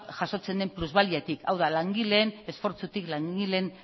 jasotzen den plusbaliatik hau da langileen esfortzutik langileen